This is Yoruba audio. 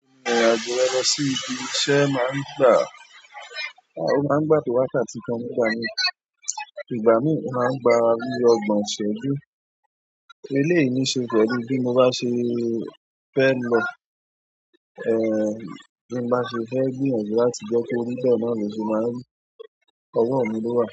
Ìrìn-àjò rẹ lọ sí ibi iṣẹ́ máa ń gbà, a ó máa ń gbà tó wákàtí kan nígbà míì. Ìgbà míì, ó máa ń gba bí ọgbọ̀n ìṣẹ́jú. Eléyìí ní ṣe pẹ̀lú bí mo bá ṣe fẹ́ lọ. Bí n bá ṣe fẹ́ gbìyànjú láti jẹ́ kó rí, bẹ́ẹ̀ náà ló ṣe máa ń rí. Ọwọ́ mi ló wà.